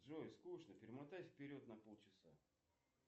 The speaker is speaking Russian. джой скучно перемотай вперед на полчаса